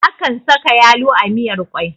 Akan saka yalo a miyar kwai